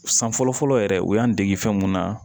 San fɔlɔ fɔlɔ yɛrɛ u y'an dege fɛn mun na